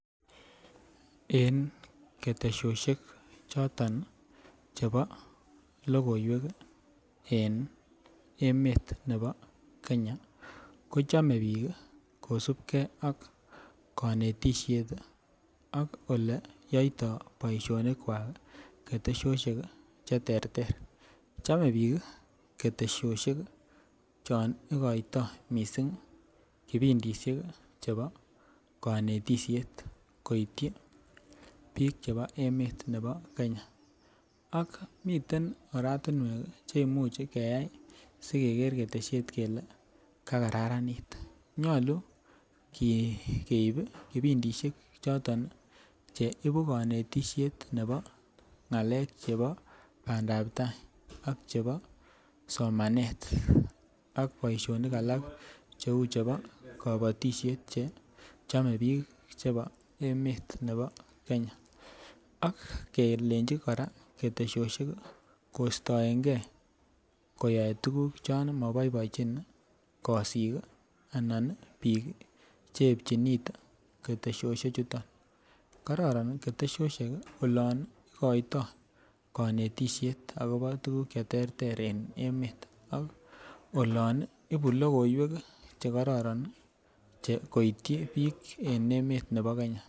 En ketesoshet choton chebo lokoiwek en emet nebo Kenya ko chome bik kosibgee ak konetishet ak oleyoito boishonik kwa kii ketesoshet cheterter. Chome bik kii ketesoshet chon ikoito missing kipindishek chebo konetishek koityi bik chebo emet nebo Kenya. Ak miten oratumwek cheimuch keyai sikeker keteshet kele kararanit, nyolu keibi kipindishek choton nii cheibu konetishet nebo ngalek chebo pandap tai sk chebo somanet ak boishonik alak cheu chebo kobotishet che chome bik chebo emet nebo Kenya ak kelenji Koraa ketesoshet kostoengee koyoe tukuk chon moboboenchin kosik kii anan nii bik cheyepchin kit ketesoshet chuton. Kororon ketesoshet olon ikoito konetishet akobo tukuk cheterter en emet ak olon ibu lokoiwek kii chekororon nii koityi bik en emoni bo Kenya.